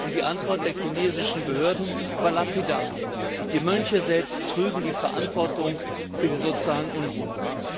Die Antwort der chinesischen Behörden war lapidar Die Mönche selbst trügen die Verantwortung für die sozialen Unruhen.